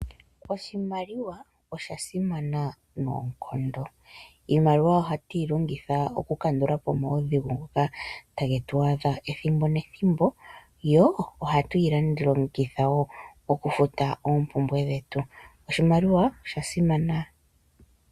Oshimaliwa osha simana noonkondo. Iimaliwa ohatu yi longitha okukandula po omaudhigu ngoka tage tu adha ethimbo nethimbo yo ohatu yi langitha wo okufuta oompumbwe dhetu. Oshimaliwa osha simana.